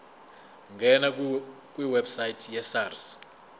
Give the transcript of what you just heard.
ngena kwiwebsite yesars